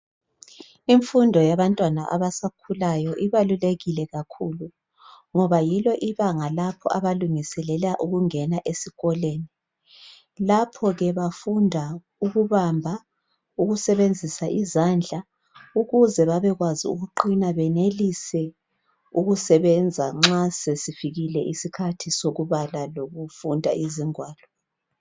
Imfundo yabantwana abasakhulayo ibalulekile kakhulu ngoba yilo ibanga lapho abalungiselela ukungena esikolweni . Lapho-ke bafunda ukubamba ukusebenzisa izandla ukuze babekwazi ukuqina benelise ukusebenza nxa sesifikile isikhathi sokubala lokufunda izingwalo.